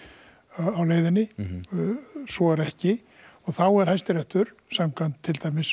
á leiðinni svo er ekki þá er Hæstiréttur til dæmis